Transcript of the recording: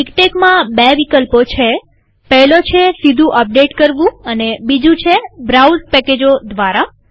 મીક્ટેકમાં બે વિકલ્પો છેપહેલો છે સીધું અપડેટ કરવું અને બીજું છે બ્રાઉઝ પેકેજો દ્વારા